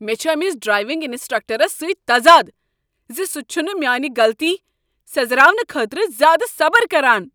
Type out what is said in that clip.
مےٚ چھ أمس ڈرٛایونگ انسٹرکٹرس سۭتۍ تضادٕ ز سۄ چھےٚ نہٕ میانہ غلطی سیٔزراونہٕ خٲطرٕ زیٛادٕ صبٕر کران۔